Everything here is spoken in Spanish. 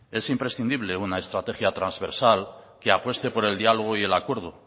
es imprescindible una estrategia trasversal que apueste por el diálogo y el acuerdo